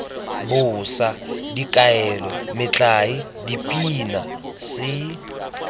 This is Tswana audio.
bosa dikaelo metlae dipina se